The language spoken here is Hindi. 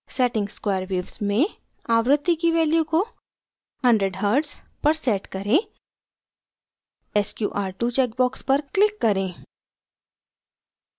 setting square waves में आवृत्ति की value को 100hz पर set करें sqr2 check box पर click करें